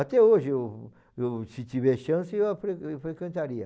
Até hoje, eu eu, se tiver chance, eu frequen eu frequentaria.